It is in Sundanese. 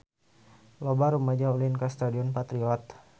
Loba rumaja ulin ka Stadion Patriot